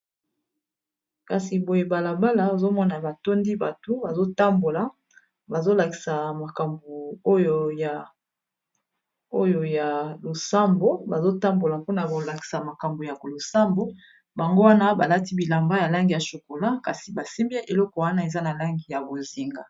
kasi boye balabala ozomona batondi bato mmakambo oyo ya obazotambola mpona bolakisa makambo ya losambo bango wana balati bilamba ya langi ya chokola kasi basimbie eloko wana eza na langi ya bozinga